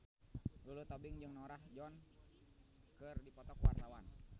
Lulu Tobing jeung Norah Jones keur dipoto ku wartawan